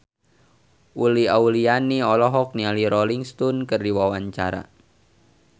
Uli Auliani olohok ningali Rolling Stone keur diwawancara